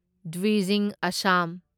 Dwijing Assam